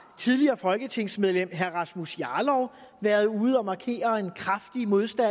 tidligere folketingsmedlem rasmus jarlov været ude at markere en kraftig modstand